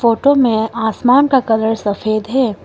Photo में आसमान का कलर सफेद है।